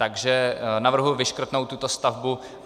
Takže navrhuji vyškrtnout tuto stavbu.